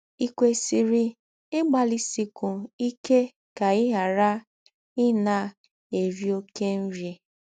Ì kwesịrị ịgbalịsikwu ike ka ị ghara ịna - eri ọké nri?